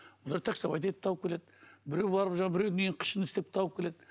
олар таксовать етіп тауып келеді біреу барып жаңағы біреудің үйінің күшін істеп тауып келеді